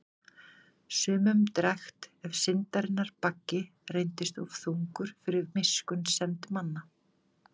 Sumum drekkt ef syndarinnar baggi reyndist of þungur fyrir miskunnsemd manna.